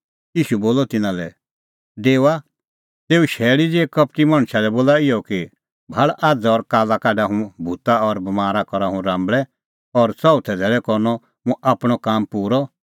ईशू बोलअ तिन्नां लै डेओआ तेऊ शैल़ी ज़िहै कपटी मणछा लै बोला इहअ कि भाल़ आझ़ और काल्ला काढा हुंह भूता और बमारा करा हुंह राम्बल़ै और चिऊथै धैल़ै करनअ मुंह आपणअ काम पूरअ